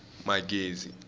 magezi